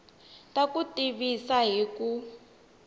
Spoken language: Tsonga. ta ku tivisa hi ku